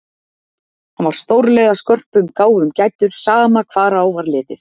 Hann var stórlega skörpum gáfum gæddur, sama hvar á var litið.